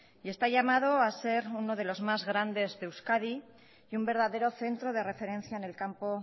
y está llamado a ser uno de los más grandes de euskadi y un verdadero centro de referencia en el campo